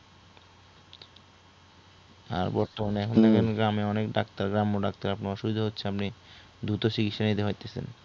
আর বর্তমানে অনেক গ্রামে অনেক ডাক্তাররা বসার সুযোগ হচ্ছে আপনি দ্রুত চিকিৎসা নিতে পারতেছেন